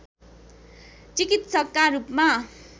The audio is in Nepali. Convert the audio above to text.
चिकित्सकका रूपमा